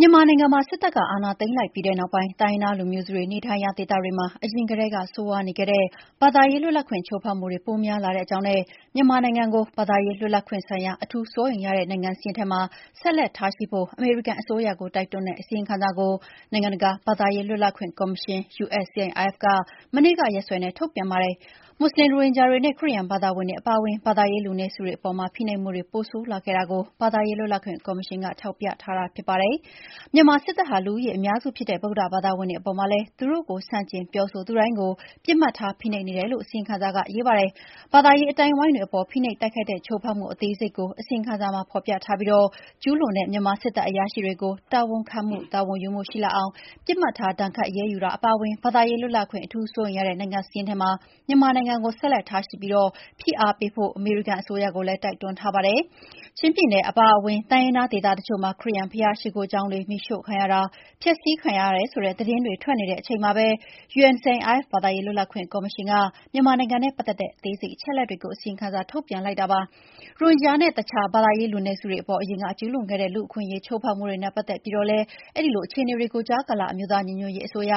မြန်မာနိုင်ငံမှာ စစ်တပ်က အာဏာသိမ်းလိုက်ပြီးတဲ့နောက်ပိုင်း တိုင်းရင်းသားလူမျိုးစုတွေ နေထိုင်ရာဒေသတွေမှာ အရင်ကတည်းက ဆိုးရွားနေခဲ့တဲ့ ဘာသာရေးလွတ်လပ်ခွင့် ချိုးဖောက်မှုတွေ ပိုများလာတဲ့အကြောင်းနဲ့ မြန်မာနိုင်ငံကို ဘာသာရေးလွတ်လွပ်ခွင့်ဆိုင်ရာ အထူးစိုးရိမ်ရတဲ့ နိုင်ငံစာရင်းထဲမှာ ဆက်လက်ထားရှိဖို့ အမေရိကန်အစိုးရကို တိုက်တွန်းတဲ့ အစီရင်ခံစာကို နိုင်ငံတကာ ဘာသာရေးလွတ်လပ်ခွင့်ကော်မရှင် (USCIRF) က မနေ့ကရက်စွဲနဲ့ ထုတ်ပြန်ပါတယ်။ မွတ်ဆလင် ရိုဟင်ဂျာတွေနဲ့ ခရစ်ယာန်ဘာသာဝင်တွေအပါအဝင် ဘာသာရေးလူနည်းစုတွေအပေါ်မှာ ဖိနှိပ်မှုတွေ ပိုဆိုးလာခဲ့တာကို ဘာသာရေးလွတ်လပ်ခွင့်ကော်မရှင်က ထောက်ပြထားတာ ဖြစ်ပါတယ်။ မြန်မာစစ်တပ်ဟာ လူဦးရေအများစုဖြစ်တဲ့ ဗုဒ္ဓဘာသာဝင်တွေအပေါ်မှာလည်း သူတို့ကို ဆန့်ကျင်ပြောဆိုသူတိုင်းကို ပစ်မှတ်ထား ဖိနှိပ်နေတယ်လို့ အစီရင်ခံစာက ရေးပါတယ်။ ဘာသာရေး အသိုင်းအဝိုင်းတွေအပေါ် ဖိနှိပ်တိုက်ခိုက်တဲ့ ချိုးဖောက်မှု အသေးစိတ်တွေကို အစီရင်ခံစာမှာ ဖော်ပြထားပြီး ကျူးလွန်တဲ့ မြန်မာစစ်တပ်အရာရှိတွေကို တာဝန်ခံမှု၊ တာဝန်ယူမှုရှိလာအောင် ပစ်မှတ်ထား ဒဏ်ခတ်အရေးယူတာအပါအဝင် ဘာသာရေးလွတ်လပ်ခွင့် အထူးစိုးရိမ်ရတဲ့နိုင်ငံစာရင်းထဲမှာ မြန်မာနိုင်ငံကို ဆက်လက်ထားရှိပြီး ဖိအားပေးဖို့ အမေရိကန်အစိုးရကို တိုက်တွန်းထားတာပါ။ ချင်းပြည်နယ်အပါအဝင် တိုင်းရင်းသားဒေသတချို့မှာ ခရစ်ယာန် ဘုရားရှိခိုးကျောင်းတချို့ မီးရှို့တာ၊ ဖျက်ဆီးတာ ခံရတယ်ဆိုတဲ့သတင်းတွေ ထွက်လာနေတဲ့အချိန်မှာပဲ USCIRF ဘာသာရေးလွတ်လပ်ခွင့်ကော်မရှင်က မြန်မာနိုင်ငံနဲ့ပတ်သက်တဲ့ အသေးစိတ် အချက်အလက်တွေကို အစီရင်ခံ ထုတ်ပြန်လိုက်တာပါ။ ရိုဟင်ဂျာနဲ့ တခြား ဘာသာရေးလူနည်းစုတွေအပေါ် အရင်က ကျူးလွန်ခဲ့တဲ့ လူ့အခွင့်အရေး ချိုးဖောက်မှုတွေနဲ့ ပတ်သက်ပြီးတော့လည်း အဲဒီလိုအခြေအနေတွေကို ကြားကာလ အမျိုးသားညီညွတ်ရေးအစိုးရ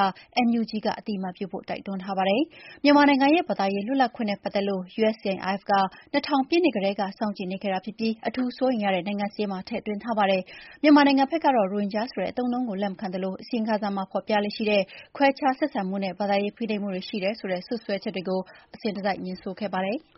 NUG က အသိအမှတ်ပြုဖို့ တိုက်တွန်းထားပါတယ်။ မြန်မာနိုင်ငံရဲ့ ဘာသာရေးလွတ်လပ်ခွင့်နဲ့ပတ်သက်လို့ USCIRF က ၂၀၀၀ ပြည့်နှစ်ကတည်းက စောင့်ကြည့်နေခဲ့ပြီး အထူးစိုးရိမ်ရတဲ့ နိုင်ငံစာရင်းမှာ ထည့်သွင်းထားပါတယ်။ မြန်မာနိုင်ငံဘက်တော့ ရိုဟင်ဂျာအဆိုတဲ့ အသုံးအနှုန်းကို လက်မခံသလို အစီရင်ခံစာမှာ ဖော်ပြလေ့ရှိတဲ့ ခွဲခြားဆက်ဆံမှုနဲ့ ဘာသာရေးဖိနှိပ်မှုတွေ ရှိတယ်ဆိုတဲ့ စွပ်စွဲချက်တွေကို အစဉ်တစိုက် ငြင်းဆိုခဲ့ပါတယ်။